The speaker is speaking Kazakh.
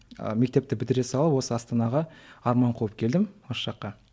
ыыы мектепті бітіре салып осы астанаға арман қуып келдім осы жаққа